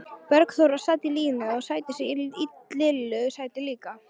Bergþóra sat í sínu sæti og í Lillu sæti líka.